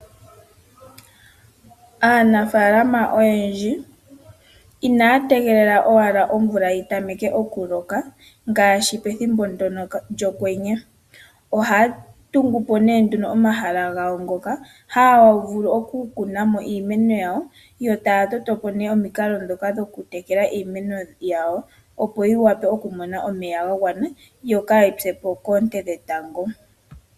Aanafaalama oyendji inaya tegelela owala omvula yi tameke okuloka ngaashi pethimbo ndono lyokwenye. Ohaa tungu po nee nduno omahala gawo haa vulu okukuna mo iimeno yawo yo taya toto po nee omikalo ndhoka dhokutekela iimeno yawo opo yivule okumona omeya ga gwana yo kaayi se po koonte dhetango.